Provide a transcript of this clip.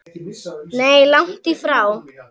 Nei, langt í frá.